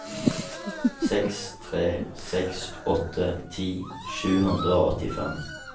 seks tre seks åtte ti sju hundre og åttifem